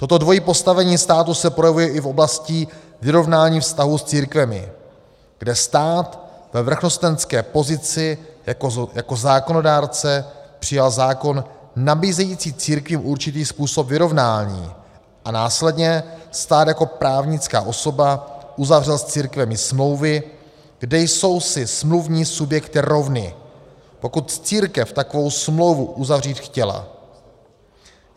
Toto dvojí postavení státu se projevuje i v oblasti vyrovnání vztahů s církvemi, kde stát ve vrchnostenské pozici jako zákonodárce přijal zákon nabízející církvím určitý způsob vyrovnání a následně stát jako právnická osoba uzavřel s církvemi smlouvy, kde jsou si smluvní subjekty rovny, pokud církev takovou smlouvu uzavřít chtěla.